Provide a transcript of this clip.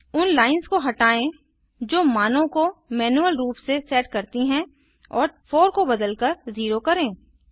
उन लाइन्स को हटायें जो मानों को मैनुअल रूप से सेट करती हैं और 4 को बदलकर 0 करें